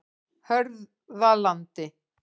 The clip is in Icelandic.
Hörðalandi